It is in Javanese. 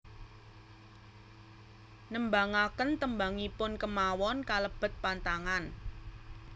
Nembangaken tembangipun kémawon kalebet pantangan